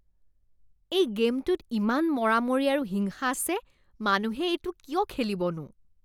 এই গে'মটোত ইমান মৰামৰি আৰু হিংসা আছে। মানুহে এইটো কিয় খেলিবনো?